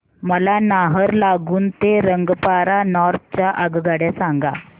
मला नाहरलागुन ते रंगपारा नॉर्थ च्या आगगाड्या सांगा